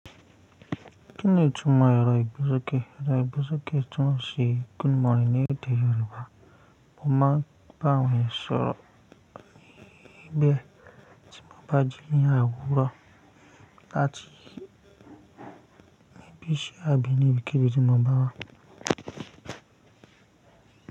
Kí ni ìtumọ̀ ero igbesọ́kẹ̀? Ero igbesọ́kẹ̀ túmọ̀ sí good morning ní èdè Yorùbá. Mo máa bá àwọn eyan ṣọ̀rọ̀ be tí mo bá jí ni àwuro láti ibi iṣẹ́ abínibí kí bi ti mo bá wa.